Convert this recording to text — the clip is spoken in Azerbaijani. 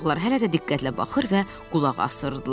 Uşaqlar hələ də diqqətlə baxır və qulaq asırdılar.